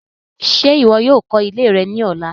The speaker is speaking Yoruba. Ṣe iwọ yoo kọ ile rẹ ni ọla